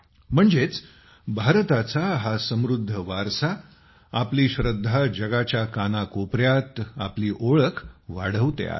म्हणजेच भारताचा हा समृद्ध वारसा आपली श्रद्धा जगाच्या कानाकोपऱ्यात आपली ओळख वाढवते आहे